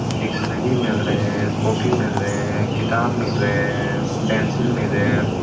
Dictionary मिल रहे हैं। कॉपी मिल रहे हैं। किताब मिल रहे हैं। पेंसिल मिल रहे हैं।